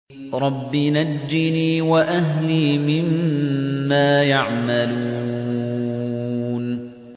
رَبِّ نَجِّنِي وَأَهْلِي مِمَّا يَعْمَلُونَ